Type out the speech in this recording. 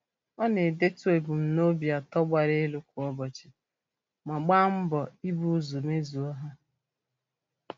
Ọ na-edetu ebumnobi atọ gbara elu kwa ụbọchị ma gba mbọ ị bu ụzọ mezuo ha.